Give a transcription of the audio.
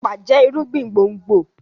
epa jẹ irúgbìn gbòngbò.